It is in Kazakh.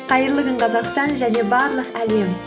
қайырлы күн қазақстан және барлық әлем